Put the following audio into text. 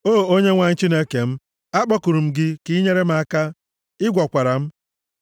O Onyenwe anyị Chineke m, akpọkuru m gị, ka i nyere m aka, ị gwọkwara m.